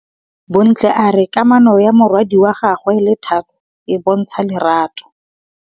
Bontle a re kamanô ya morwadi wa gagwe le Thato e bontsha lerato.